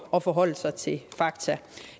at forholde sig til fakta